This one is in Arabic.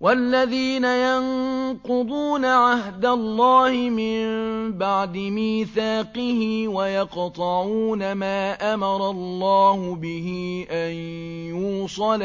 وَالَّذِينَ يَنقُضُونَ عَهْدَ اللَّهِ مِن بَعْدِ مِيثَاقِهِ وَيَقْطَعُونَ مَا أَمَرَ اللَّهُ بِهِ أَن يُوصَلَ